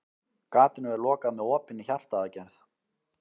Gatinu er lokað með opinni hjartaaðgerð.